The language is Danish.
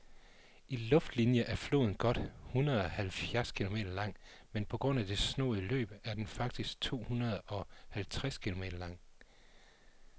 I luftlinie er floden godt hundredeoghalvfjerds kilometer lang, men på grund af det snoede løb er den faktisk tohundredeoghalvtreds kilometer lang.